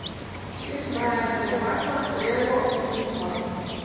фильм брайана де пальма лего фильм два